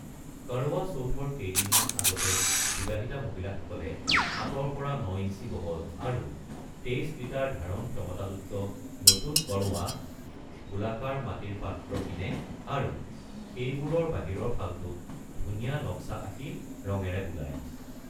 কৰৱা চৌথৰ কেইদিনমান আগতে, বিবাহিতা মহিলাসকলে সাতৰ পৰা ন ইঞ্চি বহল আৰু 23 লিটাৰ ধাৰণ ক্ষমতাযুক্ত নতুন কৰৱা (গোলাকাৰ মাটিৰ পাত্ৰ) কিনে আৰু সেইবোৰৰ বাহিৰৰ ফালটোত ধুনীয়া নক্সা আঁকি ৰঙেৰে বোলায়।